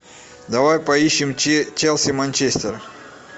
давай поищем челси манчестер